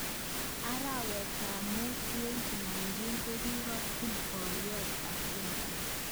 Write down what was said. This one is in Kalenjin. Arawet tab mut 2019 kokikotun boyot Obiaku.